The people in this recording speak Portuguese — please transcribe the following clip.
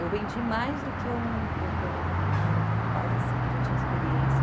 Eu vendi mais do que um do que um do que um outro rapaz, assim, que já tinha experiência.